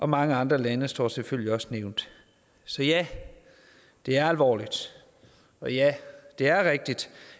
mange andre lande står selvfølgelig også nævnt så ja det er alvorligt og ja det er rigtigt